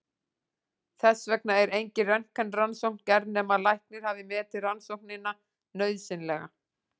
Þess vegna er engin röntgenrannsókn gerð nema læknir hafi metið rannsóknina nauðsynlega.